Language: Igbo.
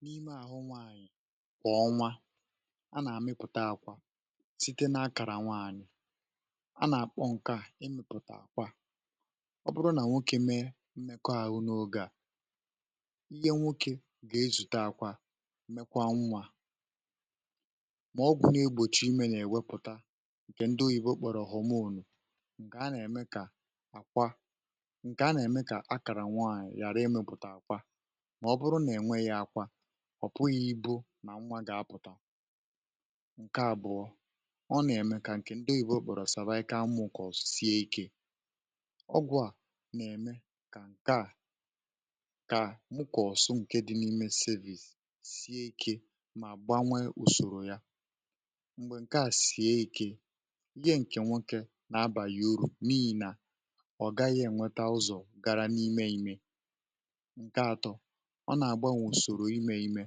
n’ime àhụ nwaànyị̀ kwà ọnwa a nà-àmịpụta àkwà site n’akàrà nwaànyị̀ a nà-àkpọ ǹkè à emèpụ̀tà àkwà um ọ bụrụ nà nwokė mee m̀mèkọ àhụ n’oge à ihe nwokė gà-ezùta àkwà mekwaa nwȧ mà ọgwụ̀ na-egbòchi imė nà-èwepụ̀ta ǹkè ndị oyìbo kpọ̀rọ̀ họ̀mụrụ̀ kà a nà-ème kà àkwà màọbụrụ nà-ènwe yȧ akwȧ ọ̀ pụghị̇ ibu̇ nà nnwa gà-apụ̀tà ǹke àbụọ̇ ọ nà-ème kà ǹkè ndọ ìbụ̇ okpòrò sava ike amụ̇ kà ọ̀sie ikė ọgwụ̇ à nà-ème kà ǹke à kà nwukò ọ̀sụ ǹke dị n’ime service sie ekė mà gbanwe ùsòrò ya m̀gbè ǹke à sie ekė ihe ǹkè nwokė nà abàghị urù n’ihì nà ǹke atọ̇ ọ nà-àgbanwe ùsòrò imė imė